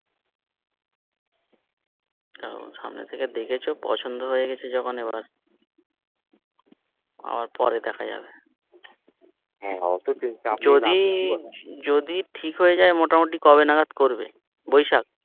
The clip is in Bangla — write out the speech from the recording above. সামনে থেকে দেখেছো পছন্দ হয়েগেছে যখন এবার আবার পরে দেখা যাবে যদি যদি ঠিক হয়ে যায় মোটামোটি কবে নাগাদ করবে বৈশাখ